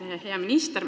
Hea minister!